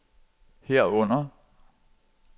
herunder